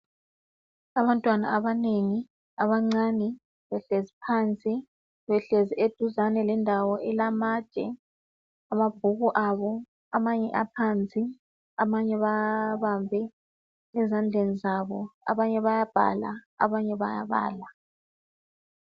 Abantwana abanengi abancane behlezi phansi, behlezi eduzane lendawo elamatshe, amabhuku abo amanye aphansi, amanye bawabambe ezandleni zabo. Abanye bayabhala, abanye bayabala.